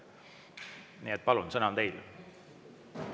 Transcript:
Nii et, palun, sõna on teil!